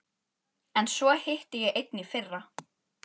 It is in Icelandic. En svo hitti ég einn í fyrra.